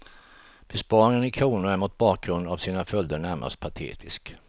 Besparingen i kronor är mot bakgrund av sina följder närmast patetisk.